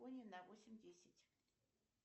на восемь десять